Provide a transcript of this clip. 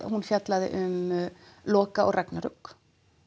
hún fjallaði um Loka og ragnarök